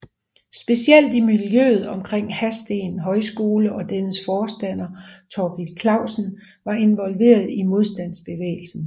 Specielt i miljøet omkring Hadsten Højskole og dennes forstander Thorkild Klausen var involveret i modstandsbevægelsen